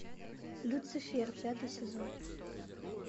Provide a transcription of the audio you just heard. люцифер пятый сезон